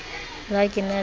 le ha ke na le